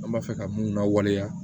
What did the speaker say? An b'a fɛ ka mun lawaleya